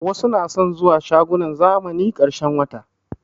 Wasu na son zuwa shagunan zamani ƙarshen wata